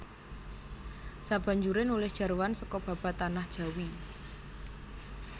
Sabanjure nulis jarwan seka Babad Tanah Jawi